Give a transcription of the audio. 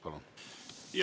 Palun!